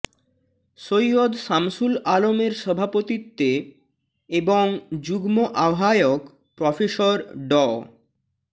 সৈয়দ সামসুল আলমের সভাপতিত্বে এবং যুগ্ম আহ্বায়ক প্রফেসর ড